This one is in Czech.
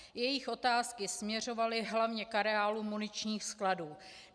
Jejich otázky směřovaly hlavně k areálu muničních skladů.